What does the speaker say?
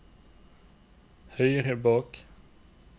høyre bak